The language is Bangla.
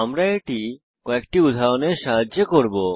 আমরা এটি একটি উদাহরণের সাহায্যে করব